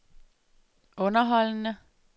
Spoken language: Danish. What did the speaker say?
underholdende